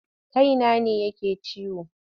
Kaina ne yake ciwo.